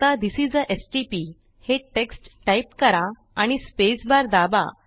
आता this is आ stpहे टेक्स्ट टाईप करा आणि स्पेसबार दाबा